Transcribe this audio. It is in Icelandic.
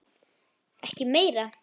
Ekki meira.